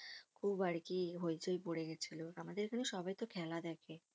খুব আরকি হইচই পরে গেছিলো আমাদের এখানে সবাইতো খেলা দেখে